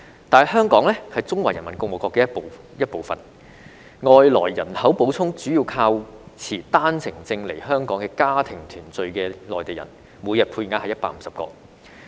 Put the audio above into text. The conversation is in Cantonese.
但香港是中華人民共和國的一部分，外來人口補充主要靠持單程證來香港與家庭團聚的內地人，每天配額是150個。